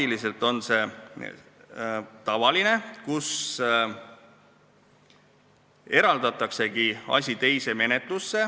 See on tavaline, kui üks asi eraldatakse ja tehakse teine menetlus.